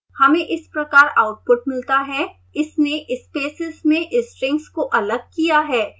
हमें इस प्रकार आउटपुट मिलता है इसने spaces में strings को अलग किया है